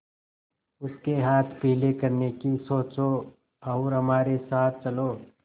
उसके हाथ पीले करने की सोचो और हमारे साथ चलो